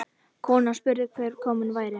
Konan spurði hver kominn væri.